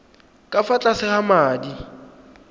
ka fa tlase ga madi